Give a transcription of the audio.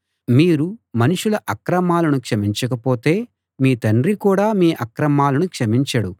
మీరు మనుషుల అక్రమాలను క్షమించకపోతే మీ తండ్రి కూడా మీ అక్రమాలను క్షమించడు